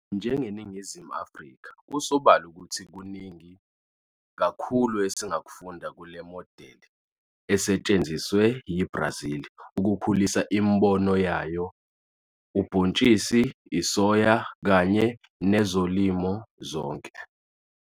NjengeNingizimu Afrika, kusobala ukuthi kuningi kakhulu esingakufunda kule modeli esetshenziswe yiBrazil ukukhulisa imboni yayo ubhontshisi isoya kanye nezolimo zonke.